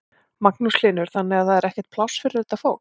Magnús Hlynur: Þannig að það er ekkert pláss fyrir þetta fólk?